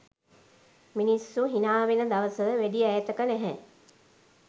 මිනිස්සු හිනාවෙන දවස වැඩි ඈතක නැහැ.